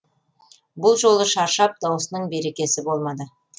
бұл жолы шаршап даусының берекесі болмады